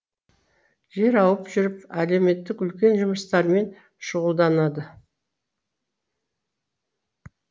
жер ауып жүріп әлеуметтік үлкен жұмыстармен шұғылданады